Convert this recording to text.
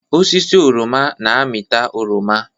Osisi oroma na-amịta oroma